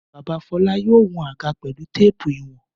Bàbá Fọlá yóò wọn àga pelu téépù ìwọ̀n.